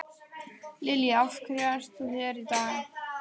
Lillý: Af hverju ert þú hér í dag?